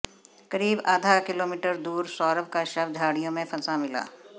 करीब आधा किलोमीटर दूर सौरव का शव झाड़ियों में फंसा मिला